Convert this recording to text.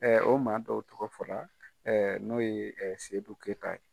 Ɛɛ o maa dɔw tɔgɔ fɔra, n'o ye sedu keyita ye.